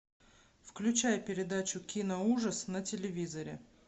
включай передачу киноужас на телевизоре